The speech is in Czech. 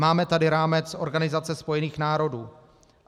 Máme tady rámec Organizace spojených národů.